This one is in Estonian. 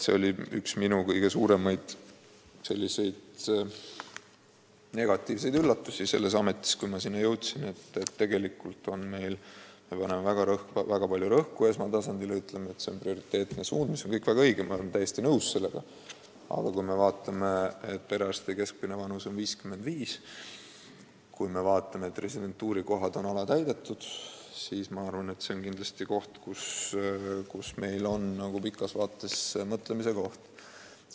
See oli üks minu kõige suuremaid negatiivseid üllatusi selles ametis, et tegelikult me paneme väga palju rõhku esmatasandile ja ütleme, et see on prioriteetne suund – see on väga õige, olen sellega täiesti nõus –, aga kui me vaatame, et perearstide keskmine vanus on 55, kui me vaatame, et residentuurikohad on alatäidetud, siis on selge, et see on kindlasti pikas vaates mõtlemise koht.